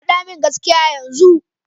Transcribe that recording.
Faɗa min gaskiya yanzu!